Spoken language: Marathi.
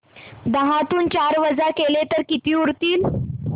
दहातून चार वजा केले तर किती उरतील